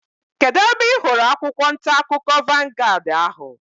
Kedụ ebe ị hụrụ akwụkwọ ntaakụkọ vangaad ahu?